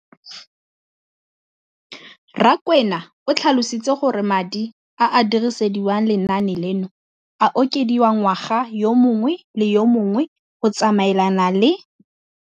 Rakwena o tlhalositse gore madi a a dirisediwang lenaane leno a okediwa ngwaga yo mongwe le yo mongwe go tsamaelana le